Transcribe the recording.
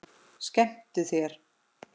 Skemmtu þér.